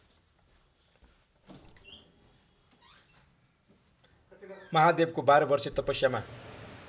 महादेवको बाह्रवर्षे तपस्यामा